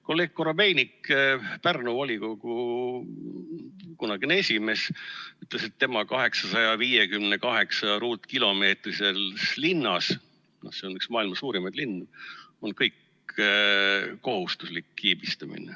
Kolleeg Korobeinik, Pärnu volikogu kunagine esimees, ütles, et tema 858-ruutkilomeetrises linnas – see on üks maailma suurimaid linnu – on kohustuslik kiibistamine.